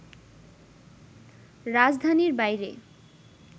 রাজধানীর বাইরে